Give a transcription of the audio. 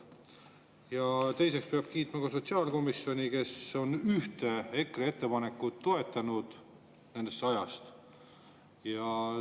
Ja teiseks peab kiitma ka sotsiaalkomisjoni, kes on ühte EKRE ettepanekut nendest sajast toetanud.